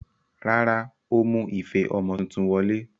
Rárá, ó mú ife ọmọ tuntun wọlé.